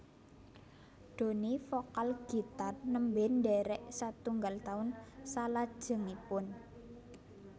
Doni vokal gitar nembe ndherek satunggal taun salajengipun